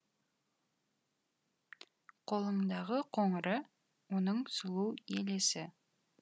қолындағы қоңыры оның сұлу елесі